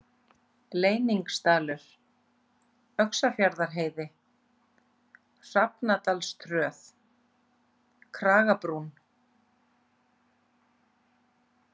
Leyningsdalur, Öxarfjarðarheiði, Hrafnadalsröð, Kragabrún